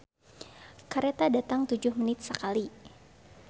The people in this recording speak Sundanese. "Kareta datang tujuh menit sakali"